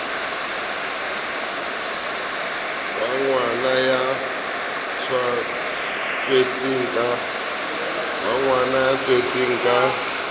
wa ngwana ya tswetsweng ka